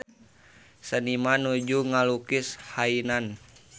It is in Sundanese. Seniman nuju ngalukis Hainan